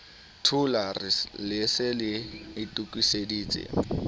thulare le se le itokiseditse